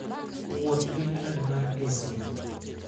Wuoth gi kad mar eSIM.